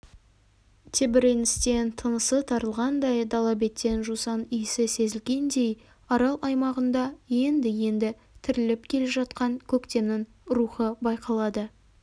тебіреністен тынысы тарылғандай дала беттен жусан иісі сезілгендей арал аймағында енді-енді тіріліп келе жатқан көктемнің рухы байқалады